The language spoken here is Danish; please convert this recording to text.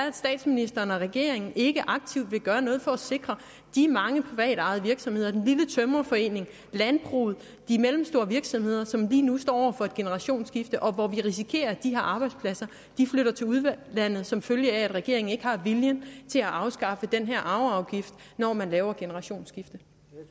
at statsministeren og regeringen ikke aktivt vil gøre noget for at sikre de mange privatejede virksomheder den lille tømrerforening landbruget de mellemstore virksomheder som lige nu står over for et generationsskifte og hvor vi risikerer at de her arbejdspladser flytter til udlandet som følge af at regeringen ikke har viljen til at afskaffe den her arveafgift når man laver generationsskiftet